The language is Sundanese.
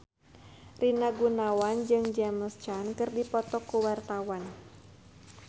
Rina Gunawan jeung James Caan keur dipoto ku wartawan